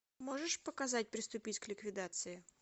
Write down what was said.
можешь показать приступить к ликвидации